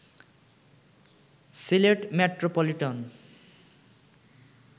Sylhet metropolitan